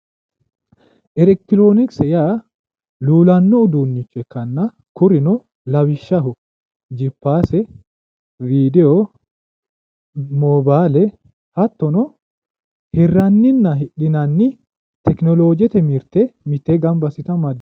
Elekitironokise yaa luulano uduunicho ikkanna kunino lawishshaho jiphaase, widiyo mobbale, hattono hiraninna hidhinanni tekenolojete mirte mitteenni gamba assite amadani